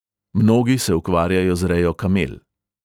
Mnogi se ukvarjajo z rejo kamel.